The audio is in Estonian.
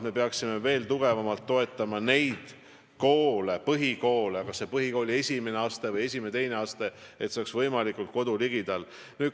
Me peaksime veel tugevamalt toetama põhikoole, olgu tegu põhikooli esimese või esimese-teise astmega, lähtudes põhimõttest, et kool olgu võimalikult kodu ligidal.